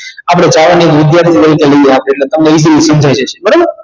આપણે વિદ્યાર્થી તરીકે લઈએ રાખીએ અટલે તમને easily સમજાઈ જાશે બરોબર